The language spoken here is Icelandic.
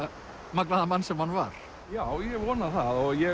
magnaða mann sem hann var já ég vona það og ég